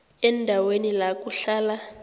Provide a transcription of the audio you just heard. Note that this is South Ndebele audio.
endaweni la kuhlala